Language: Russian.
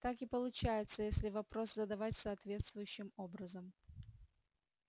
так и получается если вопрос задавать соответствующим образом